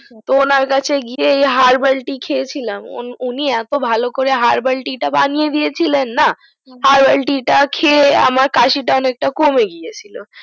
তো ওনার কাছে গিয়ে এই herbal tea খেয়েছিলাম উনি এত ভালো করে herbal tea টা বানিয়ে দিয়েছিলেন না herbal tea টা খেয়ে আমার কাশিটা অনেকটা কমে গেছিলো